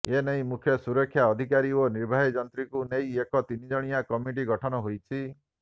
ଏନେଇ ମୁଖ୍ୟ ସୁରକ୍ଷା ଅଧିକାରୀ ଓ ନିର୍ବାହୀ ଯନ୍ତ୍ରୀଙ୍କୁ ନେଇ ଏକ ତିନିଜଣିଆ କମିଟି ଗଠନ ହୋଇଛି